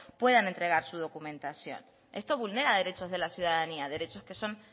puedan entregar su documentación esto vulnera derechos de la ciudadanía derechos que son